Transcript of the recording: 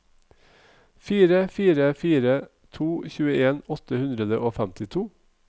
fire fire fire to tjueen åtte hundre og femtito